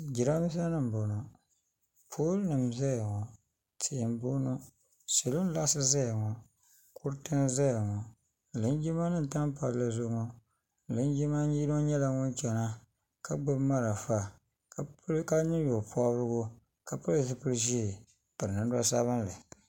Jiranbiisa nim n bɔŋo pooli nim n zaya ŋɔ tia n bɔŋo salo n laɣisi zaya ŋɔ kuriti n zaya ŋɔ linjima nim n tam palli zuɣu ŋɔ linjima yino nyɛla ŋun chana ka gbubi marafa ka niŋ nye pɔbirigu ka pili zipili ʒee n piri namda sabinli.